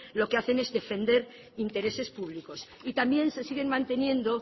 lo que hacen es defender intereses públicos y también se siguen manteniendo